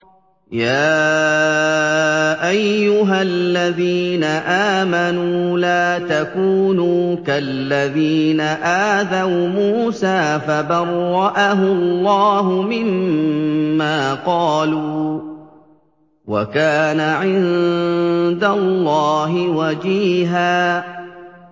يَا أَيُّهَا الَّذِينَ آمَنُوا لَا تَكُونُوا كَالَّذِينَ آذَوْا مُوسَىٰ فَبَرَّأَهُ اللَّهُ مِمَّا قَالُوا ۚ وَكَانَ عِندَ اللَّهِ وَجِيهًا